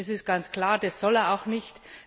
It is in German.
Das ist ganz klar, das soll er auch nicht.